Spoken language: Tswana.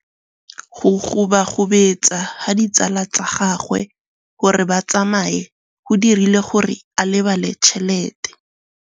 Go gobagobetsa ga ditsala tsa gagwe, gore ba tsamaye go dirile gore a lebale tšhelete.